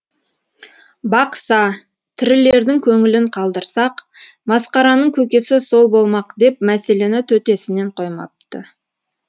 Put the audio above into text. бақса тірілердің көңілін қалдырсақ масқараның көкесі сол болмақ деп мәселені төтесінен қоймапты